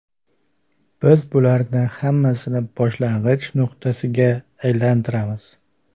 Biz bularning hammasini boshlang‘ich nuqtasiga aylantiramiz.